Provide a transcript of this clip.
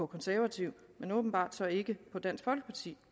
konservative men åbenbart ikke på dansk folkeparti